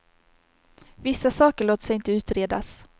Vissa saker låter sig inte utredas.